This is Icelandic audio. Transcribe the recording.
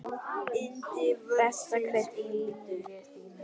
Besta kryddið í lífi þínu.